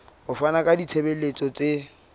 ho fana ka ditshebeletso tse